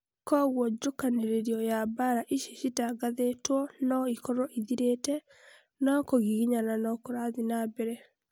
koguo njũkanĩrĩro ya mbara ici citatangathĩtwo no ikorwo ithirĩte, no kũgiginyana no kũrathiĩ na mbere